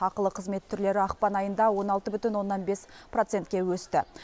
ақылы қызмет түрлері ақпан айында он алты бүтін оннан бес процентке өсті